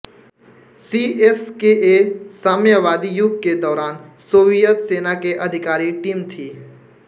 CSKA साम्यवादी युग के दौरान सोवियत सेना के अधिकारी टीम थी